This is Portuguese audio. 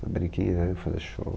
Saberem quem é, fazer show.